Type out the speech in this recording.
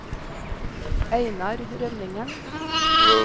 Einar Rønningen